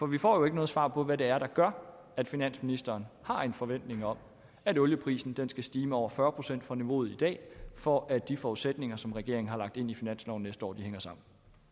vi får jo ikke noget svar på hvad det er der gør at finansministeren har en forventning om at olieprisen skal stige med over fyrre procent fra niveauet i dag for at de forudsætninger som regeringen har lagt ind i finansloven næste år hænger sammen